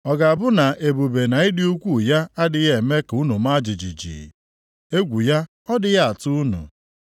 Ọ ga-abụ na ebube na ịdị ukwuu ya adịghị eme ka unu maa jijiji? Egwu ya ọ dịghị atụ unu?